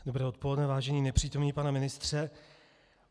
Dobré odpoledne, vážený nepřítomný pane ministře.